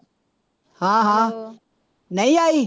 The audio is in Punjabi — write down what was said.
ਹਾਂ ਹਾਂ ਨਹੀਂ ਆਈ